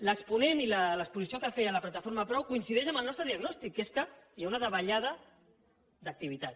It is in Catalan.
l’exponent i l’exposició que feia la plataforma prou coincideix amb el nostre diagnòstic que és que hi ha una davallada d’activitat